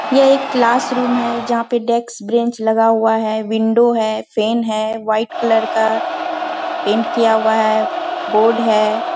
ये एक class room है जहाँ पे डेस्क ब्रेंच लगा हुआ है विंडो है फेन है वाइट कलर का पेंट किया हुआ है बोर्ड है।